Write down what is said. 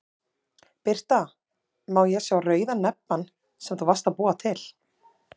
Birta: Má ég sá rauða nebbann sem þú varst að búa til?